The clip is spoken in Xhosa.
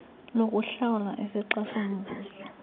lokuhlawulwa isixa somvuzo